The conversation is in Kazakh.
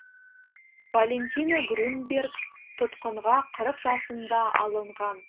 валентина грюнберг тұтқынға қырық жасында алынған